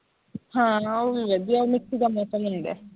ਹਾਂ ਉਹ ਵੀ ਵਧੀਆ ਹੈ ਉਹ ਵੀ mix ਜਾਂ ਮੌਸਮ ਹੁੰਦਾ ਹੈ